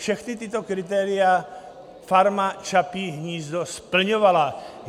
Všechna tato kritéria Farma Čapí hnízdo splňovala.